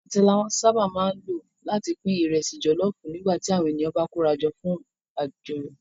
Àtẹ la sábà máa ń lò láti pín ìrẹsì jọ̀lọ́ọfù nígbà tí àwọn ènìyàn bá kórajọ fún àjọyọ̀